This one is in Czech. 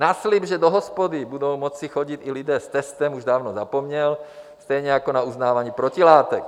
Na slib, že do hospody budou moci chodit i lidé s testem, už dávno zapomněl, stejně jako na uznávání protilátek.